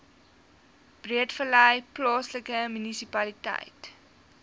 breedevallei plaaslike munisipaliteit